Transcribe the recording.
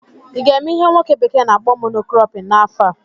ị ga-eme ihe nwoke bekee na-akpọ "mono cropping" n'afọ a?